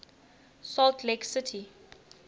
salt lake city